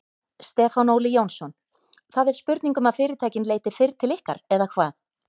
Stefán Óli Jónsson: Það er spurning um að fyrirtækin leiti fyrr til ykkar eða hvað?